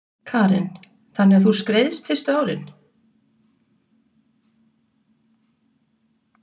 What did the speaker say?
Karen: Þannig að þú skreiðst fyrstu árin?